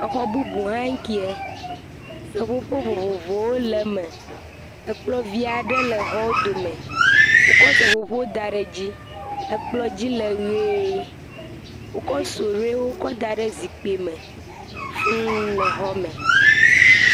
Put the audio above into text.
exɔ bubu hã ŋkiɛ seƒoƒo vovovowo le me ekplɔ̃ vi'ɖe le xɔ dome wókɔ seƒoƒo kɔ́ daɖe dzí ekplɔ̃ dzi le ɣee wó kɔ́ suɖiwo kɔ́ daɖe zikpime fuū le xɔ me